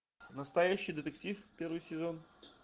настоящий детектив первый сезон